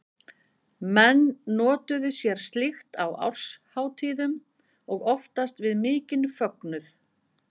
Menn notuðu sér slíkt á árshátíðum og oftast við mikinn fögnuð.